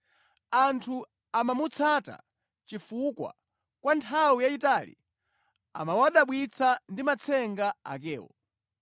Anthu amamutsata chifukwa kwa nthawi yayitali amawadabwitsa ndi matsenga akewo.